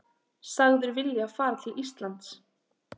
Sagður vilja fara til Íslands